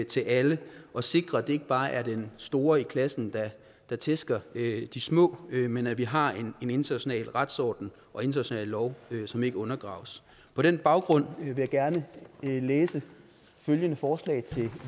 til alle og sikre at det ikke bare er den store i klassen der tæsker de små men at vi har en international retsorden og international lov som ikke undergraves på den baggrund vil jeg gerne læse følgende forslag til